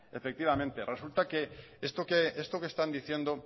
efectivamente resulta esto que están diciendo